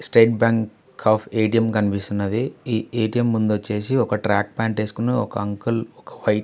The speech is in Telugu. స్టేట్ బ్యాంక్ ఆఫ్ ఏ_టీ_ఎం కనిపిస్తున్నది. ఈ ఏ_టీ_ఎం ముందు వచ్చేసి ఒక ట్రాక్ ప్యాంట్ లో ఉన్న అంకుల్--